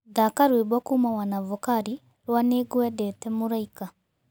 thaka rwĩmbo kũuma wanavokali rwa nĩngwendete mũraĩka